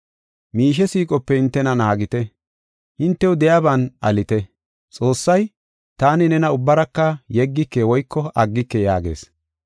Miishe siiqope hintena naagite; hintew de7iyaban alite. Xoossay, “Taani nena ubbaraka yeggike woyko aggike” yaagis.